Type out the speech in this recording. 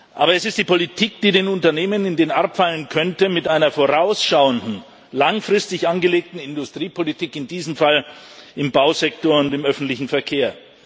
Aber es ist die Politik, die den Unternehmen in den Arm fallen könnte mit einer vorausschauenden, langfristig angelegten Industriepolitik, in diesem Fall im Bausektor und im öffentlichen Verkehr.